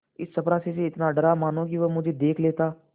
इस चपरासी से इतना डरा मानो कि वह मुझे देख लेता